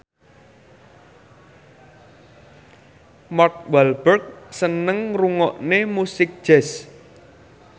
Mark Walberg seneng ngrungokne musik jazz